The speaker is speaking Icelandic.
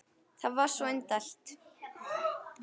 Það var svo indælt.